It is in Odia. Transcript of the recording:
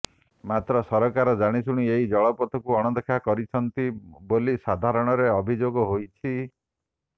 ମାତ୍ର ସରକାର ଜାଣିଶୁଣି ଏହି ଜଳପଥକୁ ଅଣଦେଖା କରୁଛନ୍ତି ବୋଲି ସାଧାରଣରେ ଅଭିଯୋଗ ହୋଇଛି